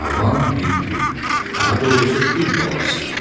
Cavan bir fil, daha doğrusu fil balası.